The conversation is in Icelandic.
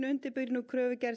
undirbýr kröfugerð